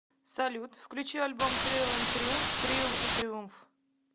салют включи альбом триал энд триумф триал и триумф